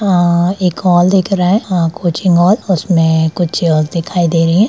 आ एक हॉल दिख रहा है आ कोचिंग हॉल उसमे कुछ दिखाई दे रही है।